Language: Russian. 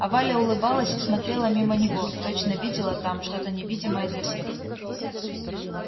а валя улыбалась и смотрела мимо него точно видела там что то невидимое для всех